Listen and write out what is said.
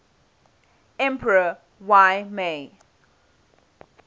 emperor y mei